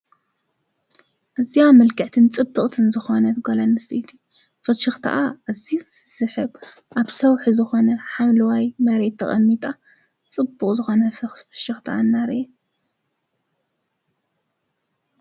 ኣዝያ ምልክዕትን ፅብቅትን ዝኮነት ጓልኣንስተይቲ ፍሽክትኣ ኣዝዩ ዝስሕብ ኣብ ሰውሒ ዝኮነ ሓምለዋይ መሬት ተቀሚጣ ፅቡቅ ዝኮነ ፍሽክታ እናርአየት ትርከብ፡፡